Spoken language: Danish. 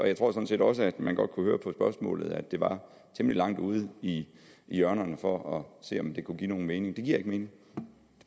jeg tror sådan set også at man godt kunne høre på spørgsmålet at det var temmelig langt ude i hjørnerne for at se om det kunne give nogen mening det giver ikke mening